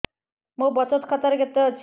ମୋ ବଚତ ଖାତା ରେ କେତେ ଅଛି